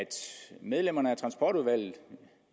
medlemmerne af transportudvalget